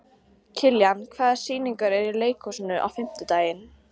Kiljan, hvaða sýningar eru í leikhúsinu á fimmtudaginn?